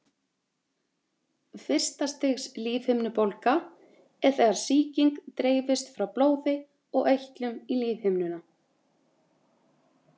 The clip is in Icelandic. fyrsta stigs lífhimnubólga er þegar sýking dreifist frá blóði og eitlum í lífhimnuna